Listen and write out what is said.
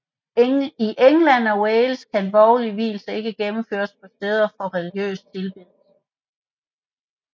I England og Wales kan borgerlige vielser ikke gennemføres på steder for religiøs tilbedelse